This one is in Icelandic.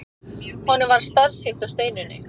Honum varð starsýnt á Steinunni.